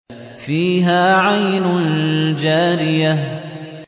فِيهَا عَيْنٌ جَارِيَةٌ